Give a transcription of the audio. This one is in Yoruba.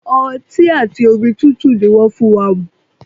Ọti ati omi tutu ni wọn fun wa mu